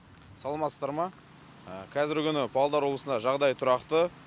саламатсыздар ма қазіргі күні павлодар облысында жағдай тұрақты